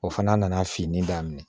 O fana nana fini daminɛ